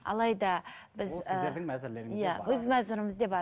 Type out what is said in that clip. алайда біз өз мәзірімізде бар